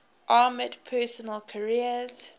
armoured personnel carriers